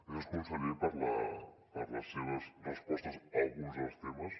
gràcies conseller per les seves respostes a alguns dels temes